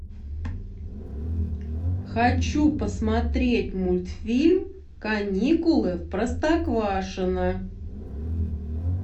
хочу посмотреть мультфильм каникулы в простоквашино